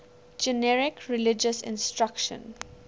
generic religious instruction